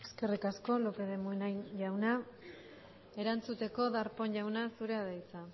eskerrik asko lópez de munain jauna erantzuteko darpón jauna zurea da hitza